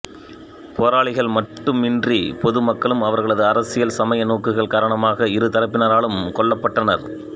போராளிகள் மட்டுமன்றிப் பொது மக்களும் அவர்களது அரசியல் சமய நோக்குகள் காரணமாக இரு தரப்பினராலும் கொல்லப்பட்டனர்